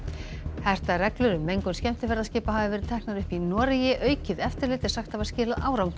hertar reglur um mengun skemmtiferðaskipa hafa verið teknar upp í Noregi aukið eftirlit er sagt hafa skilað árangri